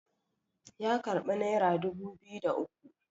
ya karbi naira dubu biyu da uku